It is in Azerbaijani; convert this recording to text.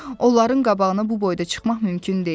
Onların qabağına bu boyda çıxmaq mümkün deyil.